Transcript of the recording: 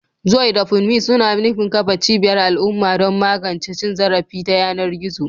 Joy da Funmi suna nufin kafa cibiyar al'umma don magance cin zarafi ta yanar gizo.